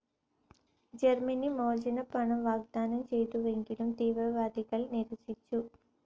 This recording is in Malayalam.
ജർമിനി മോചനപ്പണം വാഗ്ദാനം ചെയ്തുവെങ്കിലും തീവ്രവാദികൾ നിരസിച്ചു.